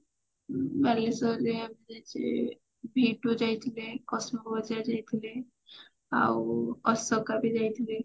ବାଲେଶ୍ଵର ରେ ଯାଇଛି v two ଯାଇଥିଲି ବଜାର ଯାଇଥିଲି ଆଉ ଅଶୋକା ବି ଯାଇଥିଲି